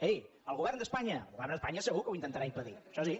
ei el govern d’espanya el govern d’espanya segur que ho intentarà impedir això sí